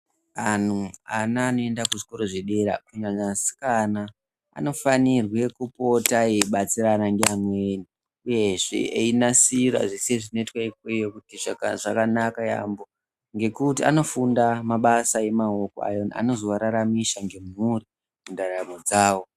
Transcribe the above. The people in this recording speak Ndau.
Anhu ana anoende kuzvikora zvedera kunyanya asikana anofanire kupota eibatsirane ngeamweni uyezve kupota einasira Zveshe zvinoiTwe ikweyo zvaka zvakanaka yaampo ngekuti anofunda mabasa emaoko ayo anozoararamisha ngemhuri mundaramo dzawo.